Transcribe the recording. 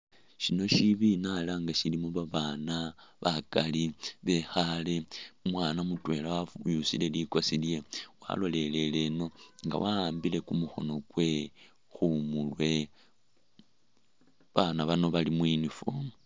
Shino shibina ela nga shilimo babana bakali bekhale umwana mutwela wenyusile likosi lye walolelele ino inga wa'ambile kumukono gwe khu murwe, abaana bano bali mu uniform.